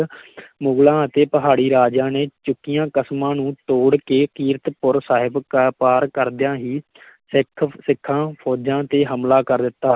ਮੁਗ਼ਲਾਂ ਅਤੇ ਪਹਾੜੀ ਰਾਜਿਆਂ ਨੇ ਚੁੱਕੀਆਂ ਕਸਮਾਂ ਨੂੰ ਤੋੜ ਕੇ ਕੀਰਤਪੁਰ ਸਾਹਿਬ ਕ~ ਪਾਰ ਕਰਦਿਆਂ ਹੀ ਸਿੱਖ ਸਿੱਖਾਂ ਫੌਜਾਂ ਤੇ ਹਮਲਾ ਕਰ ਦਿੱਤਾ।